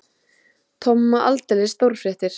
Tomma aldeilis stórfréttir.